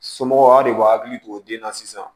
Somɔgɔw de b'a hakili to den na sisan